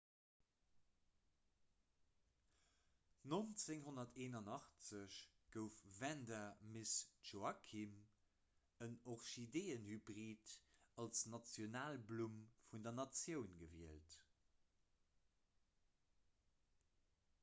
1981 gouf vanda miss joaquim en orchideeënhybrid als nationalblumm vun der natioun gewielt